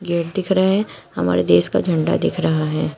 Gate दिख रहे हमारे देश का झंडा दिख रहा है।